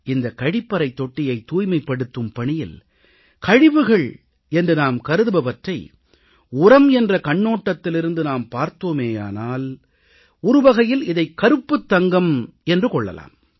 இந்தக் கழிப்பறைத் தொட்டியைத் தூய்மைப்படுத்தும் பணியில் கழிவுகள் என்று நாம் கருதுபவற்றை உரம் என்ற கண்ணோட்டத்திலிருந்து நாம் பார்த்தோமேயானால் ஒரு வகையில் இதைக் கருப்புத் தங்கம் என்று கொள்ளலாம்